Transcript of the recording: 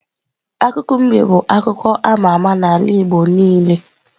Akụkọ mbe bu akụkọ ama ama n'ala igbo niile.